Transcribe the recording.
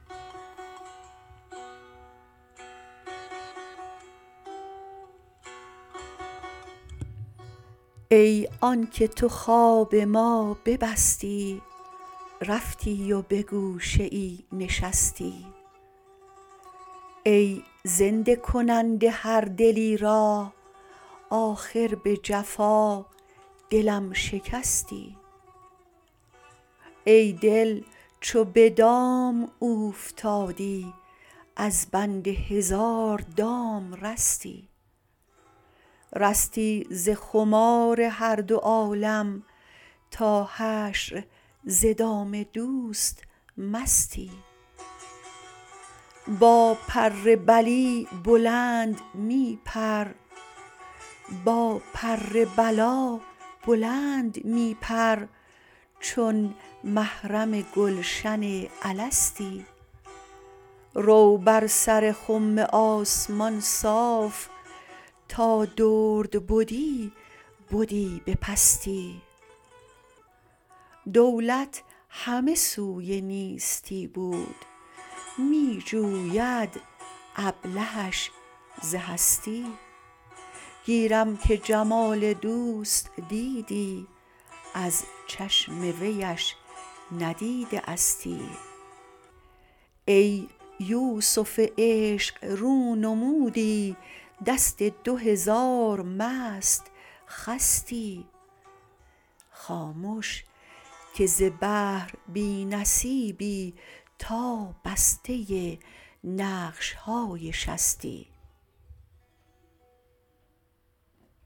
ای آنک تو خواب ما ببستی رفتی و به گوشه ای نشستی ای زنده کننده هر دلی را آخر به جفا دلم شکستی ای دل چو به دام او فتادی از بند هزار دام رستی رستی ز خمار هر دو عالم تا حشر ز دام دوست مستی با پر بلی بلند می پر چون محرم گلشن الستی رو بر سر خم آسمان صاف تا درد بدی بدی به پستی دولت همه سوی نیستی بود می جوید ابلهش ز هستی گیرم که جمال دوست دیدی از چشم ویش ندیده استی ای یوسف عشق رو نمودی دست دو هزار مست خستی خامش که ز بحر بی نصیبی تا بسته نقش های شستی